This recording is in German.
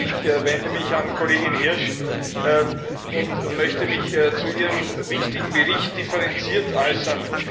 Ich wende mich an die Kollegin Hirsch und möchte mich zu ihrem wichtigen Bericht differenziert äußern.